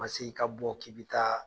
Ma se i ka bɔ k'i bi taa